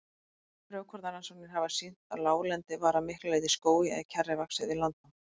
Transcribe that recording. Frjókornarannsóknir hafa sýnt að láglendi var að miklu leyti skógi eða kjarri vaxið við landnám.